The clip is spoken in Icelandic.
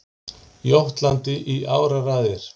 Jótlandi í áraraðir.